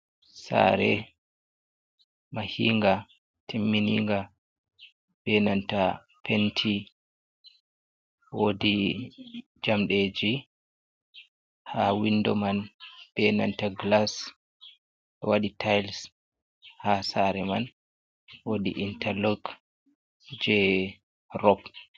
Sare mahinga timmininga benanta penti wodi jamdeji ha windo man benanta glas wadi tiles ha sare man wodi interloke je rop.